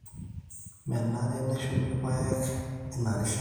Menare neshumi irr`paek ina rishata